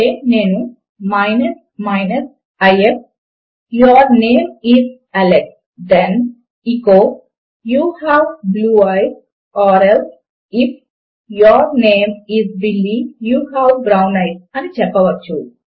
అంటే నేను if your name is Alex then echo you have blue eyes or else if your name is Billy you have brown eyes అని చెప్పవచ్చు